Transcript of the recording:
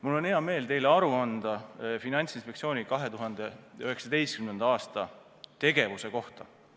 Mul on hea meel anda teile aru Finantsinspektsiooni 2019. aasta tegevuse kohta.